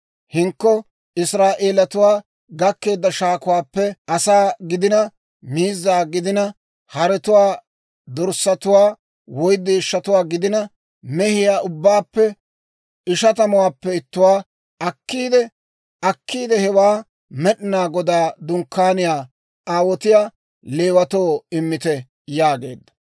Hinkko Israa'eelatuwaa gakkeedda shaakuwaappe, asaa gidina, miizza gidina, haretuwaa, dorssatuwaa, woy deeshshatuwaa gidina, mehiyaa ubbaappe ishatamuwaappe ittuwaa akkiide hewaa Med'inaa Godaa Dunkkaaniyaw aawotiyaa Leewatoo immite» yaageedda.